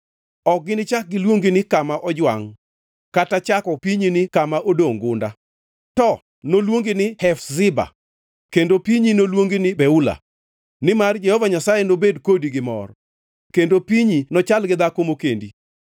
Ok ginichak giluongi ni Kama Ojwangʼ kata chako pinyi ni kama Odongʼ Gunda. To noluongi ni Hefziba kendo pinyi noluongi ni Beula; nimar Jehova Nyasaye nobed kodi gi mor kendo pinyi nochal gi dhako mokendi.